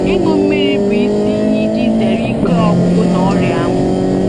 Ịṅụ mmiri bụ isi ihe iji zere ike ọgwụgwụ na ọrịa anwụ.